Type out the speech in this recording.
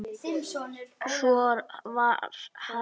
Svo var hafist handa.